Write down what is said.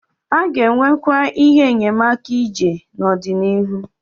A ga-enwekwu ihe enyemaka ije n'ọdịnihu.